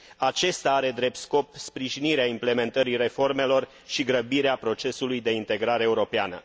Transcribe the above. Acesta are drept scop sprijinirea implementării reformelor și grăbirea procesului de integrare europeană.